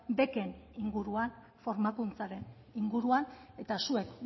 beken inguruan formakuntzaren inguruan eta zuek